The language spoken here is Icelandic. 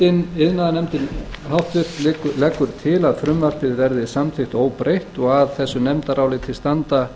háttvirtur iðnaðarnefnd leggur til að frumvarpið verði samþykkt óbreytt og að þessu nefndaráliti standa